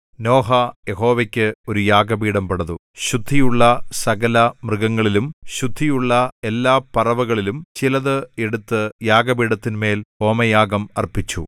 നോഹ യഹോവയ്ക്ക് ഒരു യാഗപീഠം പണിതു ശുദ്ധിയുള്ള സകലമൃഗങ്ങളിലും ശുദ്ധിയുള്ള എല്ലാപറവകളിലും ചിലത് എടുത്ത് യാഗപീഠത്തിന്മേൽ ഹോമയാഗം അർപ്പിച്ചു